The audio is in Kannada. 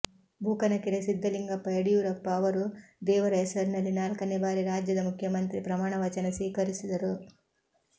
ಬೂಕನಕೆರೆ ಸಿದ್ದಲಿಂಗಪ್ಪ ಯಡಿಯೂರಪ್ಪ ಅವರು ದೇವರ ಹೆಸರಿನಲ್ಲಿ ನಾಲ್ಕನೇ ಬಾರಿ ರಾಜ್ಯದ ಮುಖ್ಯಮಂತ್ರಿ ಪ್ರಮಾಣವಚನ ಸ್ವೀಕರಿಸಿದರು